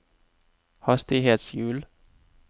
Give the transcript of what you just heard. hastighetshjul